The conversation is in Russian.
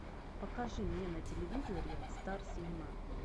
покажи мне на телевизоре стар синема